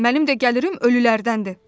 Mənim də gəlirim ölülərdəndir.